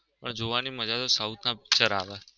પણ જોવાની મજા તો south ના picture આવે.